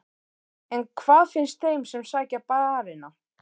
En hvað finnst þeim sem sækja barina?